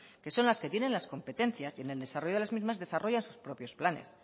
que son las que tienen las competencias y en el desarrollo de las mismas desarrolla sus propios planes